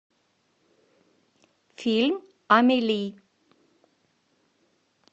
фильм амели